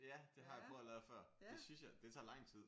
Ja det har jeg prøvet at lave før det synes jeg det tager lang tid